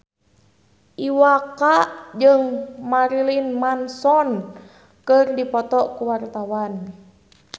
Iwa K jeung Marilyn Manson keur dipoto ku wartawan